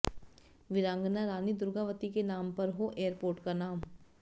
वीरांगना रानी दुर्गावती के नाम पर हो एयरपोर्ट का नाम